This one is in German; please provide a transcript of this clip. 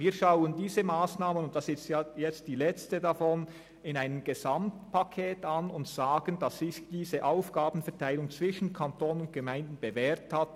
Wir schauen diese Massnahme als Teil eines Gesamtpakets an und stellen fest, dass sich diese Aufgabenteilung zwischen Kanton und Gemeinden bewährt hat.